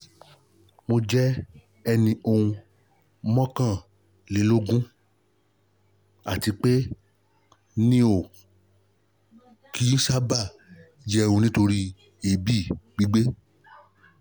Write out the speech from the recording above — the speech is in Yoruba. mo jẹ́ ẹni ọún mọ́kànlélógún àti pé mi ò kih ń sáábà jẹun nítorí èébì gbígbé